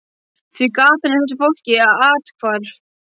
Því gatan er þessu fólki athvarf.